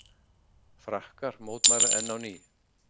Frakkar mótmæla enn á ný